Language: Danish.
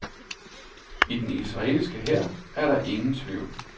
I den israelske hær er der ingen tvivl.